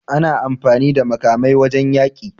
Ana amfani da makamai wajan yaƙi